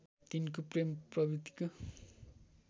तिनको प्रेम प्रवित्तिको